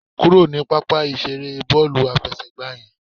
Kúrò ní pápá ìseré bọ́ọ̀lù àfẹsẹ̀gbá yẹn